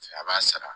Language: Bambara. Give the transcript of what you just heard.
A b'a sara